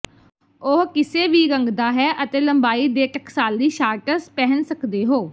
ਉਹ ਕਿਸੇ ਵੀ ਰੰਗ ਦਾ ਹੈ ਅਤੇ ਲੰਬਾਈ ਦੇ ਟਕਸਾਲੀ ਸ਼ਾਰਟਸ ਪਹਿਨ ਸਕਦੇ ਹੋ